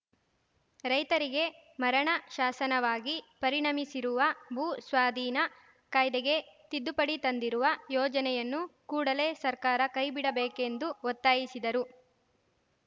ರೈತರಿಗೆ ಮರಣ ಶಾಸನವಾಗಿ ಪರಿಣಮಿಸಿರುವ ಭೂ ಸ್ವಾದೀನ ಕಾಯ್ದೆಗೆ ತಿದ್ದುಪಡಿ ತಂದಿರುವ ಯೋಜನೆಯನ್ನು ಕೂಡಲೇ ಸರ್ಕಾರ ಕೈಬಿಡಬೇಕೆಂದು ಒತ್ತಾಯಿಸಿದರು